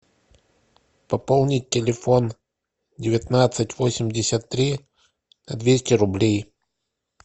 пополнить телефон девятнадцать восемьдесят три на двести рублей